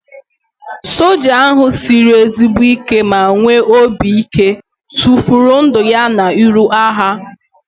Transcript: Soja ahu sịrị ezigbo ike ma nwee obi ike tụfuru ndụ ya n'iru agha